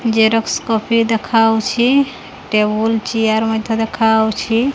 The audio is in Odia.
ଜେରକ୍ସ କପି ଦେଖାହଉଛି ଟେବୁଲ୍ ଚିଆର ମଧ୍ଯ ଦେଖାହଉଛି।